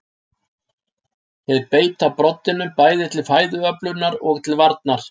þeir beita broddinum bæði til fæðuöflunar og til varnar